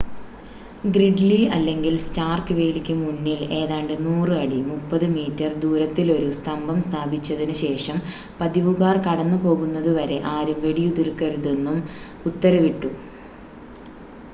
Gridley അല്ലെങ്കിൽ Stark വേലിക്ക് മുന്നിൽ ഏതാണ്ട് 100 അടി 30 മീറ്റർ ദൂരത്തിലൊരു സ്തംഭം സ്ഥാപിച്ചതിന് ശേഷം പതിവുകാർ കടന്നുപോകുന്നതുവരെ ആരും വെടിയുതിർക്കരുതെന്നും ഉത്തരവിട്ടു